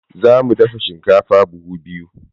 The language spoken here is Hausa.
Za mu dafa shinkafa buhu biyu.